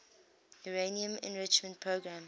uranium enrichment program